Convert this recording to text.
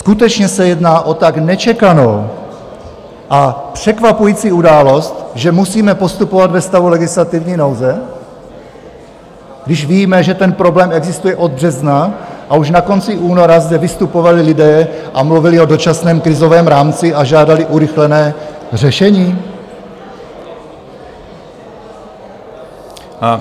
Skutečně se jedná o tak nečekanou a překvapující událost, že musíme pokračovat ve stavu legislativní nouze, když víme, že ten problém existuje od března a už na konci února zde vystupovali lidé a mluvili o dočasném krizovém rámci a žádali urychlené řešení?